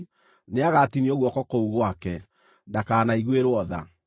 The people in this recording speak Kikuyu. nĩagatinio guoko kũu gwake. Ndakanaiguĩrwo tha.